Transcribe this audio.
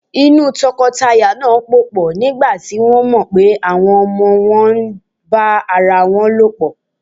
Inú tọkọtaya náà pòpọ̀ nígbà tí wọ́n mọ̀ pé àwọn ọmọ wọn ń bá ara lòpọ̀.